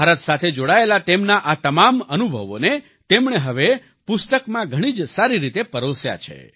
ભારત સાથે જોડાયેલા તેમના આ તમામ અનુભવોને તેમણે હવે પુસ્તકો ઘણી જ સારી રીતે પરોસ્યા છે